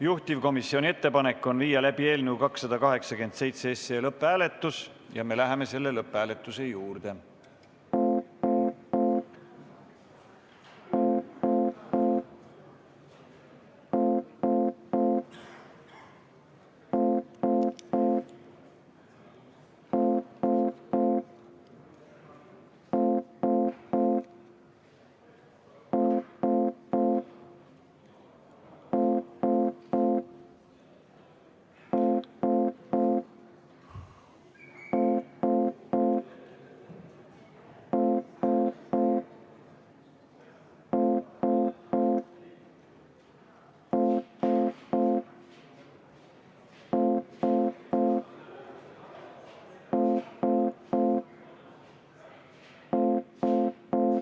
Juhtivkomisjoni ettepanek on viia läbi eelnõu 287 lõpphääletus ja me läheme selle juurde.